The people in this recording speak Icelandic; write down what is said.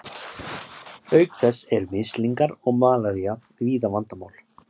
Auk þess eru mislingar og malaría víða vandamál.